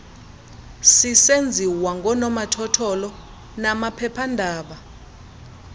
sisenziwa ngoonomathotholo namaphephaandaba